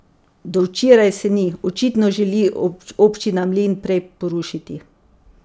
Do včeraj se ni, očitno želi občina mlin prej porušiti.